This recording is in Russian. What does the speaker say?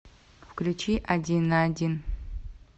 включи один на один